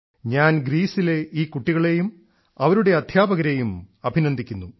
ഞാൻ ഗ്രീസിലെ ഈ കുട്ടികളേയും അവരുടെ അധ്യാപകരേയും അഭിനന്ദിക്കുന്നു